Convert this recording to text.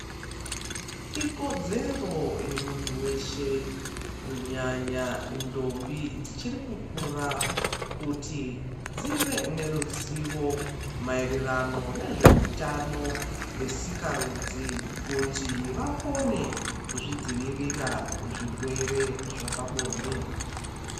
Ikodzero yemunthu weshe kunyanya ndombi dzichiri kukura kuti dzive neruzivo maererano nezveutano hwesikarudzi kuti vakone kuzvidzivirira kuzvirwere zvepabonde.